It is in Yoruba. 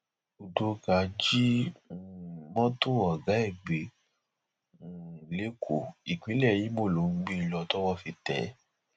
udoka jí um mọtò ọgá ẹ gbé um lẹkọọ ìpínlẹ ìmọ ló ń gbé e lọ tọwọ fi tẹ ẹ